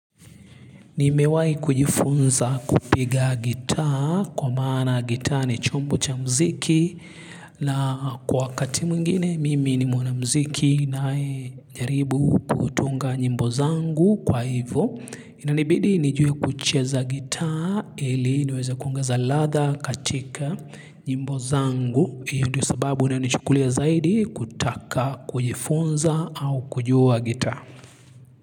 Nimewahi kujifunza kupiga gitaa kwa maana gitaa ni chombo cha muziki la kwa wakati mwingine mimi ni mwanamuziki na najaribu kutunga nyimbo zangu kwa hivyo inanibidi nijuwe kucheza gitaa ili niweza kuongeza ladha katika nyimbo zangu hiyo ndio sababu unaonichukulia zaidi kutaka kujifunza au kujua gitaa.